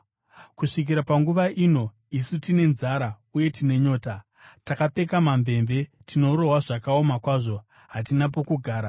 Kusvikira panguva ino isu tine nzara, uye tine nyota, takapfeka mamvemve, tinorohwa zvakaoma kwazvo, hatina pokugara.